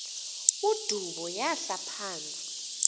udubo yahla phantsi